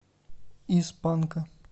из панка